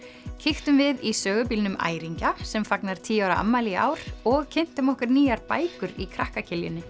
kíktum við í sögubílnum Æringja sem fagnar tíu ára afmæli í ár og kynntum okkur nýjar bækur í krakka